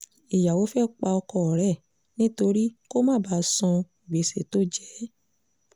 ìyàwó fẹ́ẹ́ pa ọkọ rẹ nítorí kó má bàa san gbèsè tó jẹ ẹ́